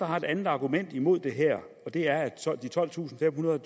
har et andet argument mod det her og det er at de tolvtusinde og